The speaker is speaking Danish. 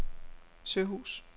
Søhus